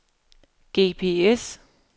GPS